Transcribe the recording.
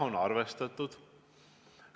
Jah, on arvestatud.